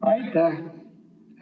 Aitäh!